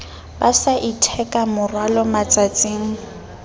ba sa itheka morwalo matsatsing